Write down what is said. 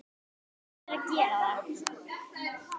Verður að gera það.